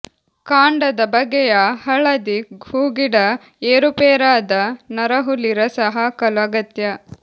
ಕಾಂಡದ ಬಗೆಯ ಹಳದಿ ಹೂಗಿಡ ಏರುಪೇರಾದ ನರಹುಲಿ ರಸ ಹಾಕಲು ಅಗತ್ಯ